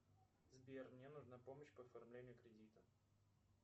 сбер мне нужна помощь по оформлению кредита